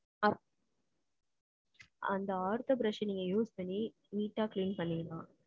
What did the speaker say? அ~ அந்த ortho brush அ, நீங்க use பண்ணி, neat ஆ clean பண்ணிவிங்களா?